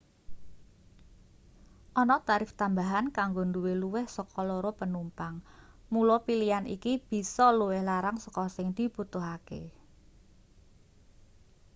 ana tarif tambahan kanggo duwe luwih saka 2 penumpang mula pilian iki bisa luwih larang saka sing dibutuhake